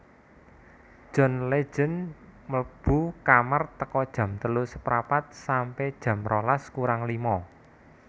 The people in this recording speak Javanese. John Legend mlebu kamar teko jam telu seprapat sampe jam rolas kurang lima